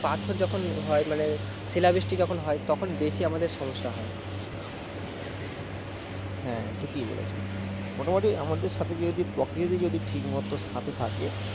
পাথর যখন হয় মানে শিলাবৃষ্টি যখন হয় তখন বেশি আমাদের সমস্যা হয় । হ্যাঁ ঠিকই বলেছো মোটামুটি আমাদের সাথে যদি যদি ঠিকমতো থাকে